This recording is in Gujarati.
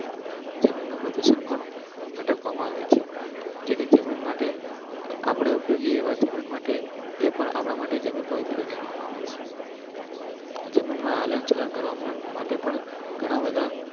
જમીન ઓપરેશન પણ અટકાવવામાં આવે છે જે જમીન માટે. મન માટે પણ આપણા માટે જમીન પર જોવામાં આવે છે. જમીનમાં અનશન કરવા માટે પણ ઘણા બધા.